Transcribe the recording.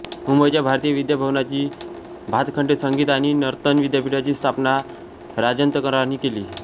मुंबईच्या भारतीय विद्या भवनाच्यी भातखंडे संगीत आणि नर्तन विद्यापीठाची स्थापना रातंजनकरांनी केली